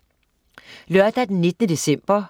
Lørdag den 19. december